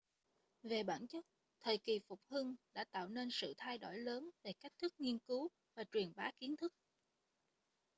về bản chất thời kỳ phục hưng đã tạo nên sự thay đổi lớn về cách thức nghiên cứu và truyền bá kiến thức